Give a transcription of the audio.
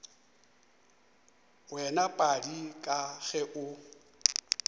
wena padi ka ge o